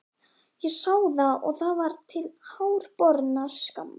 Ég sá það og það var til háborinnar skammar.